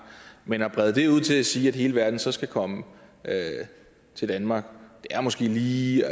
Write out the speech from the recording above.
men at brede det ud til at sige at hele verden så skal komme til danmark er måske lige